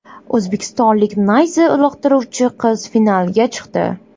O‘zbekistonlik nayza uloqtiruvchi qiz finalga chiqdi.